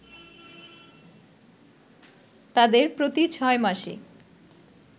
তাদের প্রতি ৬ মাসে